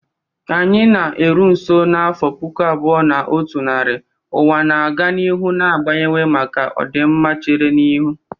Ka anyị na-eru nso n'afọ puku abuo na otu nari, ụwa na-aga n'ihu na-agbanwe maka ọdịmma chere n'ihu.